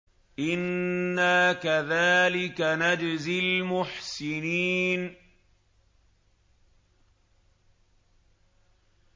إِنَّا كَذَٰلِكَ نَجْزِي الْمُحْسِنِينَ